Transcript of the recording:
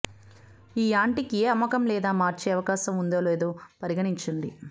ఈ యాంటిక ఏ అమ్మకం లేదా మార్చే అవకాశం ఉంది లేదో పరిగణించండి